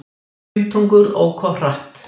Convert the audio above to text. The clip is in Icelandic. Fimmtungur ók of hratt